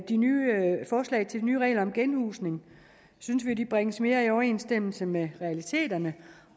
de nye regler om genhusning synes vi at de bringes mere i overensstemmelse med realiteterne